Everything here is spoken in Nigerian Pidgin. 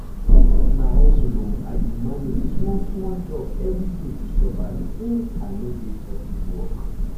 na hustle o i dey manage small-small jobs every day to survive since i no get office work.